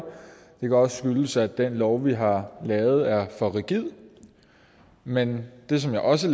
kan også skyldes at den lov vi har lavet er for rigid men det som jeg også